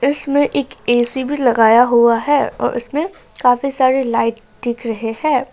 इसमें एक ए_सी भी लगाया हुआ है और उसमें काफी सारी लाइट दिख रहे हैं।